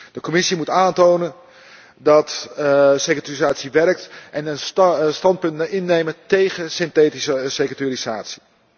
De Commissie moet aantonen dat securitisatie werkt en een standpunt innemen tegen synthetische securitisatie.